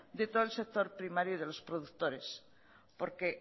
de todo el sector primario y de los productores porque